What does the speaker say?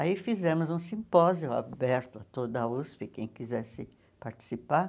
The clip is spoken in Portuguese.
Aí fizemos um simpósio aberto a toda a USP, quem quisesse participar.